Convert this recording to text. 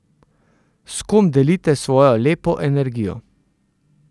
S kom delite svojo lepo energijo.